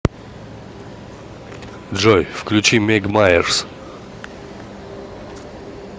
джой включи мег майерс